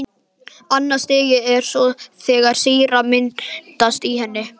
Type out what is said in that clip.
Annað stigið er svo þegar sýra myndast í henni.